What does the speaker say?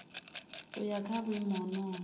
u ya nga vhuimo honoho